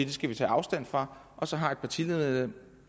det skal vi tage afstand fra og så har et partimedlem